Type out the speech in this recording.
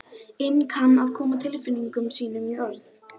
Þar voru viðtöl við þá þremenninga og myndir þeirra sýndar.